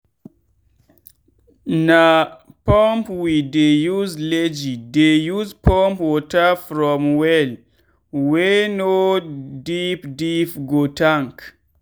na pump wey dey use legi dey use pump water from well wey no deep deep go tank.